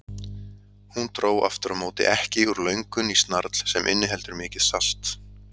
Hún dró aftur á móti ekki úr löngun í snarl sem inniheldur mikið salt.